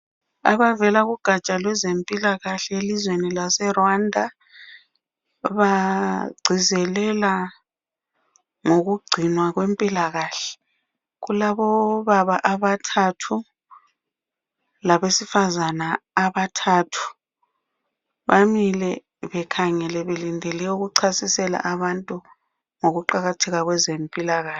Abavela kugaja lwezempilakahle elizweni laseRwanda bagcizelela ngokugcinwa kwempilakahle. Kulabobaba abathathu labesifazana abathathu bamile bekhangele belindele ukuchasisela abantu ngokuqakatheka kwezempilakahle.